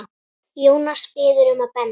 Jónas biður um að benda